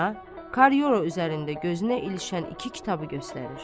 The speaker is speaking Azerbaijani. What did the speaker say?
Rəana Korridor üzərində gözünə ilişən iki kitabı göstərir.